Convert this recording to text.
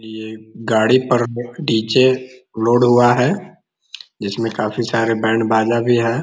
ये गाड़ी पर डी.जे. लोड हुआ है जिसमें काफी सारे बैंड बजा भी हैं।